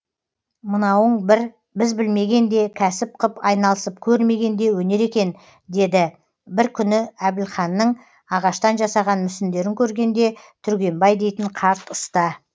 мынауың бір біз білмеген де кәсіп қып айналысып көрмеген де өнер екен деді бір күні әбілханның ағаштан жасаған мүсіндерін көргенде түргенбай дейтін қарт ұста